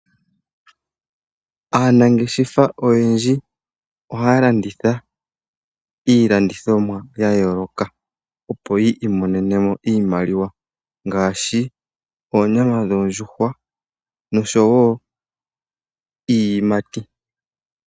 Aanangeshefa oyendji ohaa landitha iilandithomwa ya yooloka, opo yi imonene mo oshimaliwa ngaashi oonyama dhoondjuhwa, nosho wo iiyimati.